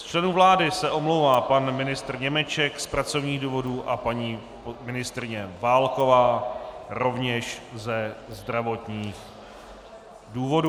Z členů vlády se omlouvá pan ministr Němeček z pracovních důvodů a paní ministryně Válková rovněž ze zdravotních důvodů.